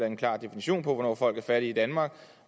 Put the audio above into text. en klar definition på hvornår folk er fattige i danmark